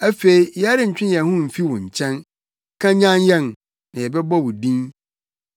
Afei yɛrentwe yɛn ho mfi wo nkyɛn; kanyan yɛn, na yɛbɛbɔ wo din.